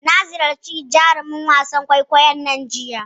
Na ziyarci jarumin wasan kwaikwayon nan jiya.